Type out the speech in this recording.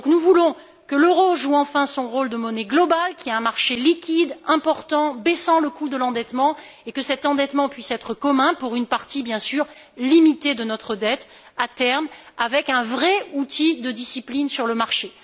selle. Nous voulons que l'euro joue enfin son rôle de monnaie mondiale, qu'il y ait un marché liquide, important, baissant le coût de l'endettement, et que cet endettement puisse être commun, pour une partie bien sûr limitée de notre dette, à terme, avec un vrai outil de discipline sur le